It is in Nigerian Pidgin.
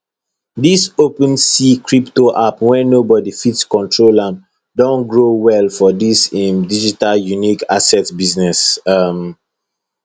dis open sea crypto app wey nobody fit control am don grow well for dis im digital unique asset business um